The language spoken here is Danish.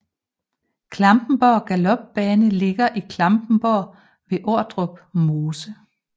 Klampenborg Galopbane ligger i Klampenborg ved Ordrup Mose